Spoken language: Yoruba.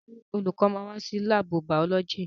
Ṣé olùkọ́ máa wá sí láàbù bàọ́lọ́jì?